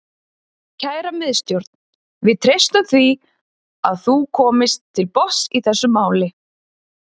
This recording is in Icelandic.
Kæra Miðstjórn, við treystum því að þú komist til botns í þessu máli.